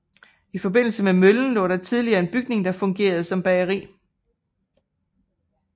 I forbindelse med møllen lå der tidligere en bygning der fungerede som bageri